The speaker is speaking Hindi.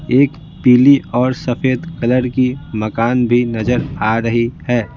एक पीली और सफेद कलर की मकान भी नजर आ रही है।